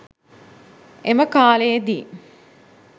එම කාලයේ දී